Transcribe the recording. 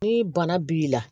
Ni bana b'i la